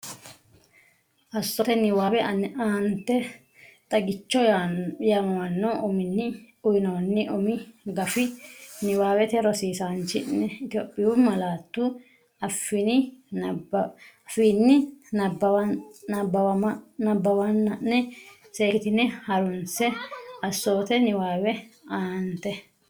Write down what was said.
Assoote Niwaawe Aanete “Xagicho” yaamamanno uminni uyinoonni umi gafi niwaawe rosiisaanchi’ne Itophiyu malaatu afiinni nabbawanna’ne seekkitine ha’runse Assoote Niwaawe Aanete.